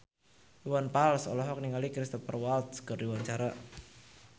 Iwan Fals olohok ningali Cristhoper Waltz keur diwawancara